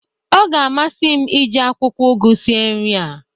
ọ ga-amasị m iji akwụkwọ ụgụ sie nri a